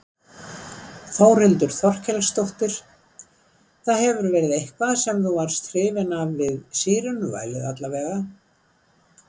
Þórhildur Þorkelsdóttir: Það hefur verið eitthvað sem þú varst hrifinn af við sírenuvælið alla vega?